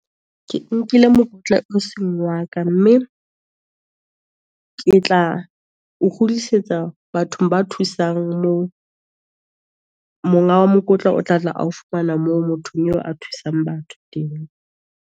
Ke nkile mokotla o seng wa ka, mme ke tla o kgutlisetsa bathong ba thusang moo, monga wa mokotlo o tla tla ao fumana moo, motho eo a thusang batho teng.